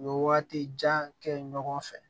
U bɛ waati jan kɛ ɲɔgɔn fɛ